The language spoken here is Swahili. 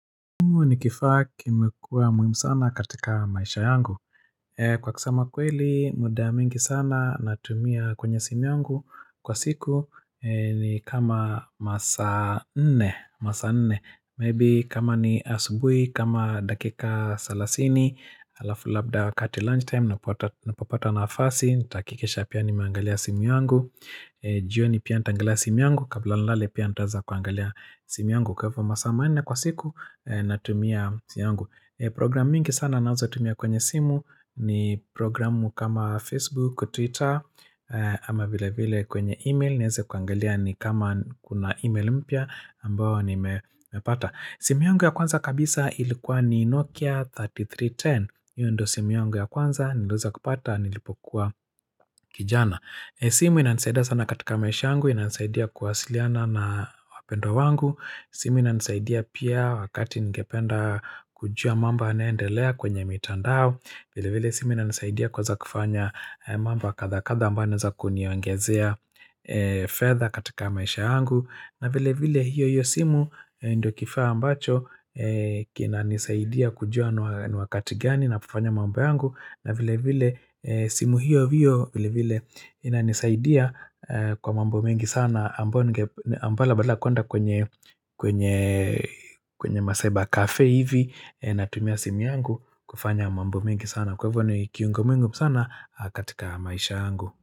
Kwa kusema kweli muda mingi sana natumia kwenye simu yangu kwa siku ni kama masaa nne Maybe kama ni asubuhi kama dakika salasini alafu labda wakati lunchtime napopata naafasi nitahakikisha pia nimeangalia simu yangu jioni pia nitaangalia simu yangu kabla nilale pia nitaeza kuangalia simu yangu Kwa hivyo masaa manne kwa siku natumia simu yungu Programu mingi sana ninazotumia kwenye simu ni programu kama Facebook, Twitter ama vile vile kwenye email nieze kuangalia ni kama kuna email mpya ambao nimepata. Simu yangu ya kwanza kabisa ilikuwa ni Nokia 3310. Hio ndio simu yangu ya kwanza niliweza kupata nilipokuwa kijana. Simu inanisaida sana katika maisha yangu inansaidia kuwasiliana na wapendwa wangu. Simu inanisaidia pia wakati ningependa kujua mamba yanaendelea kwenye mitandao vile vile simu inanisaidia kuweza kufanya mambo ya kadhaa kadhaa ambayo naeza kuniongezea fedha katika maisha yangu na vile vile hiyo hiyo simu ndio kifaa ambacho kinanisaidia kujua ni wakati gani na vifanya mambo yangu na vile vile simu hiyo hiyo vile vile inanisaidia kwa mambo mingi sana ambalo badala kuenda kwenye ma cyber cafe hivi natumia simu yangu kufanya mambo mingi sana kwa hivyo ni kiungo muhimu sana katika maisha yangu.